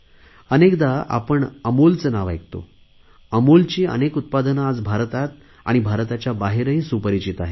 अनेकदा आपण अमूलचे नाव ऐकतो अमूलची अनेक उत्पादने आज भारतात आणि भारताच्या बाहेरही सुपरिचित आहे